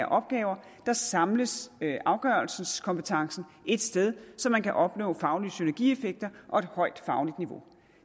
opgaver samles afgørelseskompetencen et sted så man kan opnå faglige synergieffekter og et højt fagligt niveau